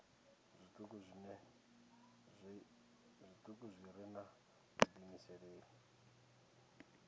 zwituku zwi re na vhudiimeseli